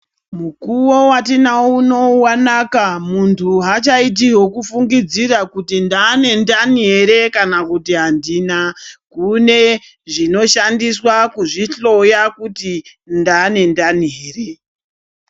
Mukuwo watinao unowu wanaka muntu haachaiti hwekufungidzira kuti ndaane ndani ere kana kuti handina. Kune zvinoshandiswa kuzvihloya kuti ndaane ndani here.